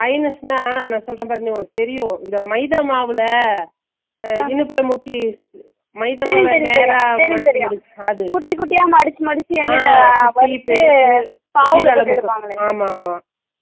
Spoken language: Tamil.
ஐனஷ்ணா நான் சொல்றன்பாறு உன்னக்கு தெரியும் மைதா மாவுல அஹ இனிப்புல முக்கி ஆமா ஆமா